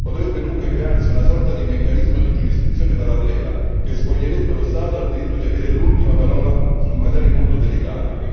Potrebbe dunque crearsi una sorta di meccanismo di giurisdizione parallela che spoglierebbe lo Stato dal diritto di avere l'ultima parola su materie molto delicate.